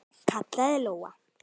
kallaði Lóa.